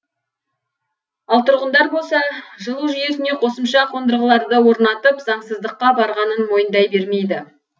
ал тұрғындар болса жылу жүйесіне қосымша қондырғыларды орнатып заңсыздыққа барғанын мойындай бермейді